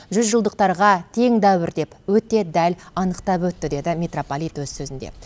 жүзжылдықтарға тең дәуір деп өте дәл анықтап өтті деді метрополит өз сөзінде